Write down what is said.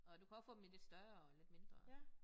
Og du kan også få dem i lidt større og lidt mindre